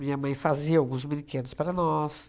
Minha mãe fazia alguns brinquedos para nós.